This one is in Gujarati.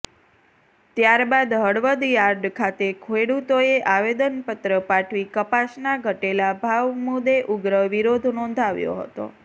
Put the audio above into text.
ત્યારબાદ હળવદ યાર્ડ ખાતે ખેડૂતોએ આવેદનપત્ર પાઠવી કપાસના ઘટેલા ભાવ મુદ્દે ઉગ્ર વિરોધ નોંધાવ્યો હતો